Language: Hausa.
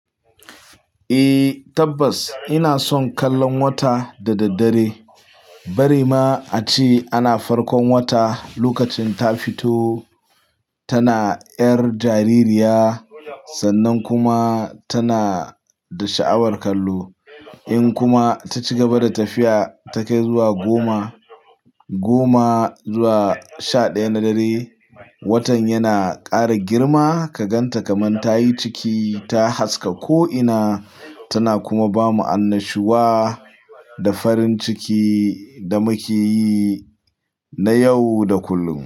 Eh tabbas ina son kallon wata da daddare. Bari ma a ce ana farkon wata lokacin ta fito tana 'yar jaririya sannan kuma tana da sha'awar kallo. In kuma ta cigaba da tafiya, ta kai zuwa goma, goma zuwa sha ɗaya na dare, watan yana kara girma ka gan ta kamar ta yi ciki, ta haske ko'ina tana kuma ba mu annashuwa da farin ciki da muke yi na yau da kullum.